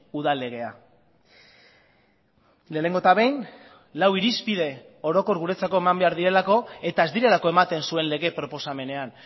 udal legea lehenengo eta behin lau irizpide orokor guretzako eman behar direlako eta ez direlako ematen zuen lege proposamenean